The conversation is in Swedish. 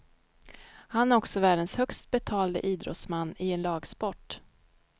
Han är också världens högst betalde idrottsman i en lagsport.